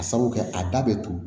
A sabu kɛ a da bɛ turu